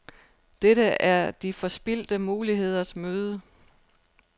Dette er de forspildte muligheders møde.